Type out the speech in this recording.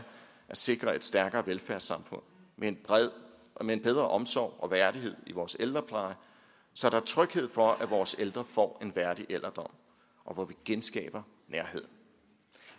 sikre et stærkere velfærdssamfund med en bedre omsorg og værdighed i vores ældrepleje så der er tryghed for at vores ældre får en værdig alderdom og hvor vi genskaber nærheden